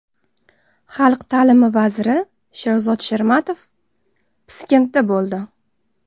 Xalq ta’limi vaziri Sherzod Shermatov Piskentda bo‘ldi.